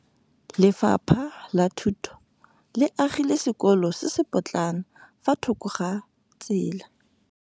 Lefapha la Thuto le agile sekôlô se se pôtlana fa thoko ga tsela.